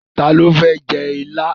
Ta ló fẹ́ jẹ ilá?